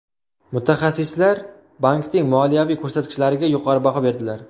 Mutaxassislar bankning moliyaviy ko‘rsatkichlariga yuqori baho berdilar.